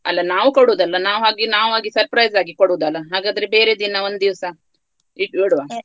ಅಲ್ಲ ನಾವು ಕೊಡುದು ಅಲ್ಲ ನಾವು ಆಗಿ ನಾವು ಆಗಿ surprise ಆಗಿ ಕೊಡುದಲ್ಲ ಹಾಗಾಗಿ ಬೇರೆ ದಿನ ಒಂದು ದಿವ್ಸ .